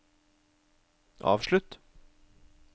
avslutt